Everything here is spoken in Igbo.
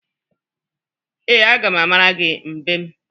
Ee, aga m amara gi mbem.